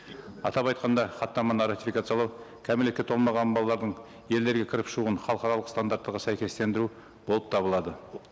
атап айтқанда хаттаманы ратификациялау кәмелетке толмаған балалардың елдерге кіріп шығуын халықаралық стандарттарға сәйкестендіру болып табылады